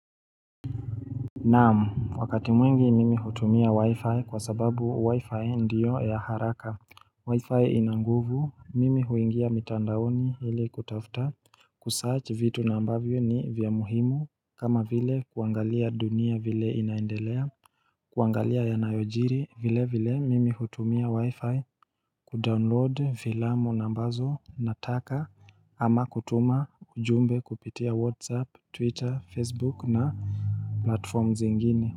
Naam, wakati mwingi mimi hutumia wi-fi kwa sababu wi-fi ndiyo ya haraka Wi-fi ina nguvu, mimi huingia mitandaoni ili kutafuta Kusearch vitu na ambavyo ni vya muhimu kama vile kuangalia dunia vile inaendelea kuangalia yanayojiri vile vile mimi hutumia wi-fi Kudownload fiilamu ambazo nataka ama kutuma ujumbe kupitia whatsapp twitter facebook na platforms zingine.